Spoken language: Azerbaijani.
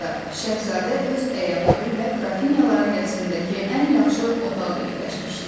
Bu arada, Şəhzadə öz əyanları ilə qrafinyaların qəsrindəki ən yaxşı otağa yerləşmişdi.